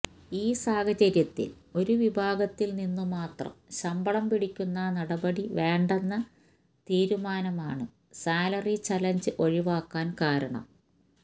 ഈ സാഹചര്യത്തില് ഒരു വിഭാഗത്തില് നിന്ന് മാത്രം ശമ്പളം പിടിക്കുന്ന നടപടി വേണ്ടെന്ന തീരുമാനമാണ് സാലറി ചലഞ്ച് ഒഴിവാക്കാന് കാരണം